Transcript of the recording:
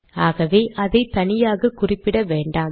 ஆகவே அதை தனியாக குறிப்பிட வேண்டாம்